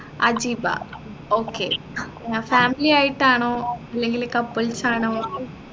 Ajeeba okay family ആയിട്ടാണോ ഇല്ലെങ്കില് couples ആണോ